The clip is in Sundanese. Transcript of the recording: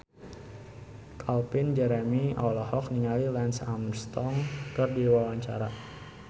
Calvin Jeremy olohok ningali Lance Armstrong keur diwawancara